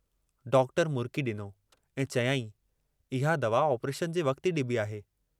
Doctor मुरकी डिनो ऐं चयाईं, इहा दवा आपरेशन जे वक्त ई डिबी आहे।